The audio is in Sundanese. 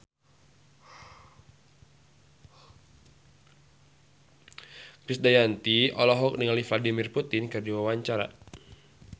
Krisdayanti olohok ningali Vladimir Putin keur diwawancara